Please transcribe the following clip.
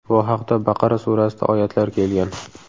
Bu haqda Baqara surasida oyatlar kelgan.